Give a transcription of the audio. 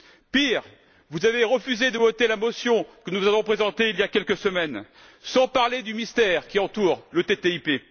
Pire, vous avez refusé de voter la motion que nous avons présentée il y a quelques semaines, sans parler du mystère qui entoure le TTIP.